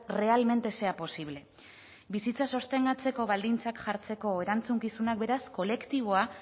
realmente sea posible bizitza sostengatzeko baldintzak jartzeko erantzukizunak beraz kolektiboa